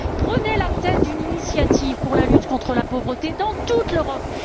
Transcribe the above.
Prenez la tête d'une initiative pour la lutte contre la pauvreté dans toute l'Europe.